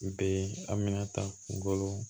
Be a bɛna ta golo